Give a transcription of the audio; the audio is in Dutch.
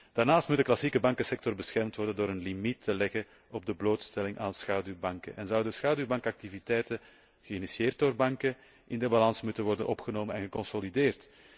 Daarnaast moet de klassieke bankensector beschermd worden door de instelling van een limiet op de blootstelling aan schaduwbanken en zouden schaduwbankactiviteiten, geïnitieerd door banken, in de balans moeten worden opgenomen en geconsolideerd.